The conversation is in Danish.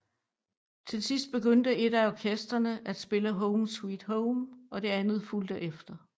Til sidst begyndte et af orkestrene at spille Home Sweet Home og det andet fulgte efter